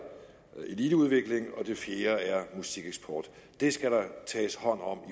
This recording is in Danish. eliteudvikling det fjerde er musikeksport det skal der tages hånd om